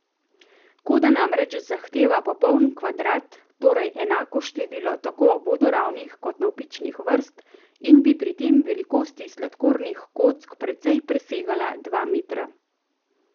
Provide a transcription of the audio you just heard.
Koda namreč zahteva popoln kvadrat, torej enako število tako vodoravnih kot navpičnih vrst, in bi pri velikosti sladkornih kock precej presegala dva metra.